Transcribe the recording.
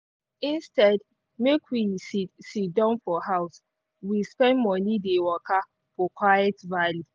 instead make we si siddon for house we spend morning dey waka for quiet valley.